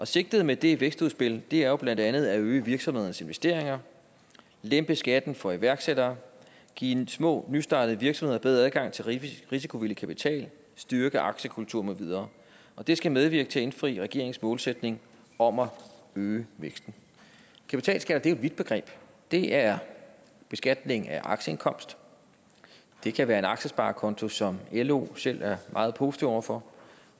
sigtet med det vækstudspil er jo blandt andet at øge virksomhedernes investeringer lempe skatten for iværksættere give små og nystartede virksomheder bedre adgang til risikovillig kapital styrke aktiekulturen med videre det skal medvirke til at indfri regeringens målsætning om at øge væksten kapitalskat er jo et vidt begreb det er beskatning af aktieindkomst det kan være en aktiesparekonto som lo selv er meget positive over for